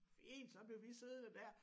Fint så blev vi siddende dér